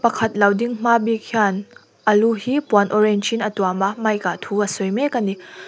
pakhat lo ding hma bik hian a lu hi puan orange in a tuam a mic ah thu a sawi mek a ni.